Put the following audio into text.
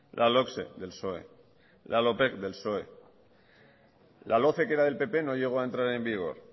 la logse del psoe la lopeg del psoe la loce que era del pp no llegó a entrar en vigor